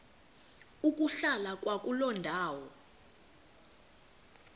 ukuhlala kwakuloo ndawo